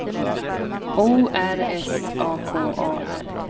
O R S A K A R